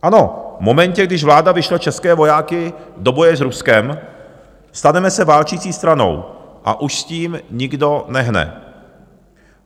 Ano, v momentě, když vláda vyšle české vojáky do boje s Ruskem, staneme se válčící stranou a už s tím nikdo nehne.